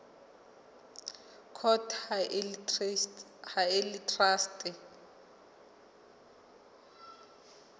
court ha e le traste